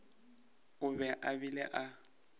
o be a bile a